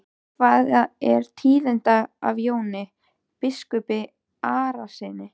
Hvað er tíðinda af Jóni biskupi Arasyni?